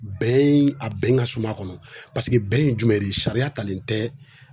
Bɛn in, a bɛn ka suman kɔnɔ .Paseke bɛn ye jumɛn de ye sariya talen tɛ